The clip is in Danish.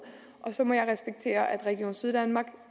og så må jeg respektere at region syddanmark